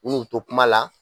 Min'u to kuma la